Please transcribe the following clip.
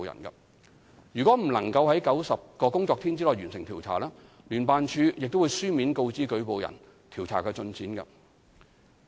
如果未能於90個工作天內完成調查，聯辦處亦會書面告知舉報人調查進展。